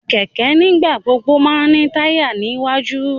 Kẹkẹ nigbagbogbo má n ni taya ni iwaju